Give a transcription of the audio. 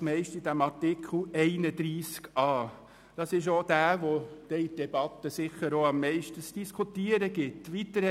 Dieser Artikel wird dann sicher auch in der Debatte am meisten zu diskutieren geben.